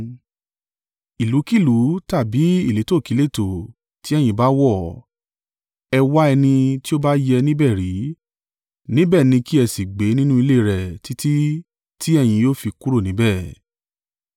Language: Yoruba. Ìlúkílùú tàbí ìletòkíletò tí ẹ̀yin bá wọ̀, ẹ wá ẹni ti ó bá yẹ níbẹ̀ rí, níbẹ̀ ni kí ẹ sì gbé nínú ilé rẹ̀ títí tí ẹ̀yin yóò fi kúrò níbẹ̀.